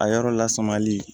A yɔrɔ lasumali